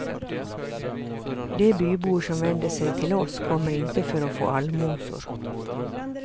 De bybor som vänder sig till oss kommer inte för att få allmosor.